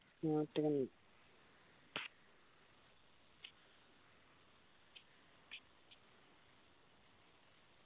നാട്ടില്